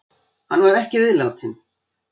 Hann var ekki viðlátinn.